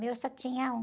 Meu só tinha um.